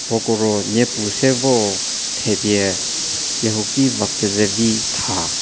pou ko ruo nyepu se vor thevie kehuki va kezevi tha.